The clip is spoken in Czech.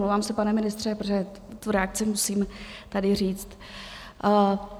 Omlouvám se, pane ministře, protože tu reakci musím tady říct.